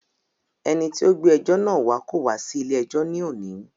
Ẹni tí o gbé ẹjọ́ náà wá kò wá sí ilé ẹjọ́ ní òní.